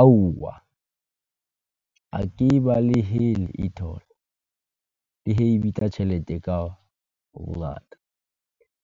Aowa, ha ke e balehele e-toll, le he e bitsa tjhelete ka bongata,